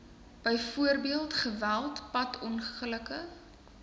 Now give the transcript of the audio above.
byvoorbeeld geweld padongelukke